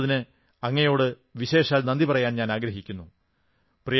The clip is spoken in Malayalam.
ഫോൺ ചെയ്തതിന് അങ്ങയോടു വിശേഷാൽ നന്ദി പറയാനാൻ ഞാൻ ആഗ്രഹിക്കുന്നു